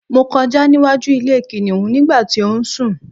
mo kọjá níwájú ilé kìnìhún nígbà tí ó ń sù